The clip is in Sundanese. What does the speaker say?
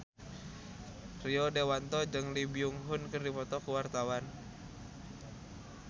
Rio Dewanto jeung Lee Byung Hun keur dipoto ku wartawan